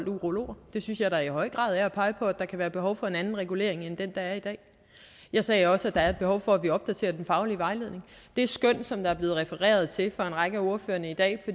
urologer det synes jeg da i høj grad er at pege på at der kan være behov for en anden regulering end den der er i dag jeg sagde også at der er et behov for at vi opdaterer den faglige vejledning det skøn som der er blevet refereret til af en række af ordførerne i dag